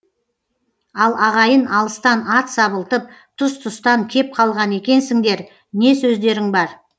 ал ағайын алыстан ат сабылтып тұс тұстан кеп қалған екенсіңдер не сөздерің бар